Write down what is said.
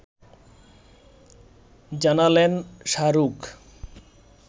জানালেন শাহরুখ